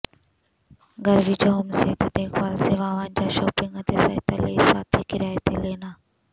ਘਰ ਵਿਚ ਹੋਮ ਸਿਹਤ ਦੇਖਭਾਲ ਸੇਵਾਵਾਂ ਜਾਂ ਸ਼ਾਪਿੰਗ ਅਤੇ ਸਹਾਇਤਾ ਲਈ ਸਾਥੀ ਕਿਰਾਏ ਤੇ ਲੈਣਾ